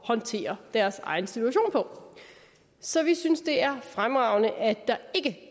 håndtere deres egen situation på så vi synes det er fremragende at der ikke